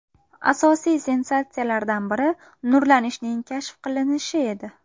Asosiy sensatsiyalardan biri nurlanishning kashf qilinishi edi.